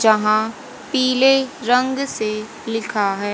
यहां पीले रंग से लिखा है।